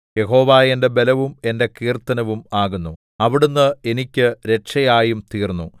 യഹോവ എന്റെ ബലവും എന്റെ കീർത്തനവും ആകുന്നു അവിടുന്ന് എനിക്ക് രക്ഷയായും തീർന്നു